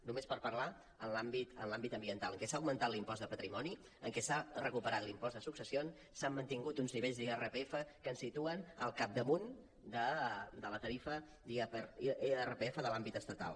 només per parlar en l’àmbit ambiental en el que s’ha augmentat l’impost de patrimoni en què s’ha recuperat l’impost de successions s’han mantingut uns nivells d’irpf que ens situen el capdamunt de la tarifa d’irpf de l’àmbit estatal